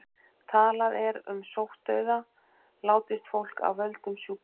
Talað er um sóttdauða látist fólk af völdum sjúkdóms.